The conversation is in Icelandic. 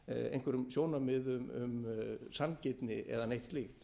einhverjum sjónarmiðum um sanngirni eða neitt slíkt